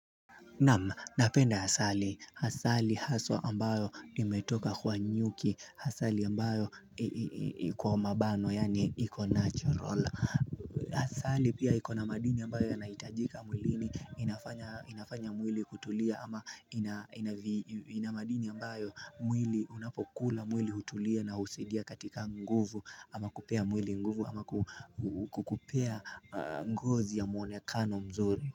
Nama napenda asali asali haswa ambayo imetoka kwa nyuki asali ambayo iko mabano yani iko natural asali pia iku na madini ambayo yanaitajika mwilini inafanya mwili kutulia ama ina madini ambayo mwili unapokula mwili hutulia na usaidia katika nguvu ama kupea mwili nguvu ama kukupea ngozi ya mwonekano mzuri.